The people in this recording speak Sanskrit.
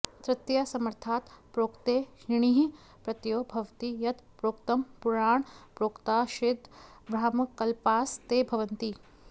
तृतीयासमर्थात् प्रोक्ते णिनिः प्रत्ययो भवति यत् प्रोक्तं पुराणप्रोक्ताश्चेद् ब्राह्मणकल्पास् ते भवन्ति